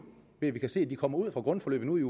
ved at vi kan se at de kommer ud fra grundforløbet